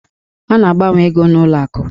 A na-agbanwe ego n'ụlọ akụ.